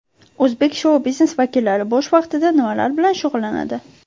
O‘zbek shou-biznes vakillari bo‘sh vaqtida nimalar bilan shug‘ullanadi?.